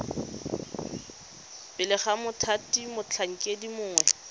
pele ga mothati motlhankedi mongwe